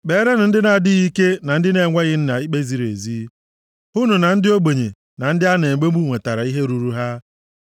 Kperenụ ndị na-adịghị ike na ndị na-enweghị nna ikpe ziri ezi; hụnụ na ndị ogbenye na ndị a na-emegbu nwetara ihe ruuru ha.